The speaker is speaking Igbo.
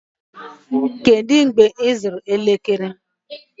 Kedu mgbe ịzụrụ elekere?